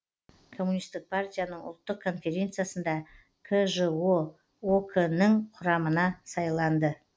коммунистік партияның ұлттық конференциясында кжо ок нің құрамына сайланды